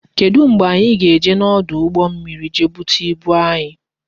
Kedu mgbe anyị ga-eje n'ọdụ ụgbọ mmiri je bute ibu anyị?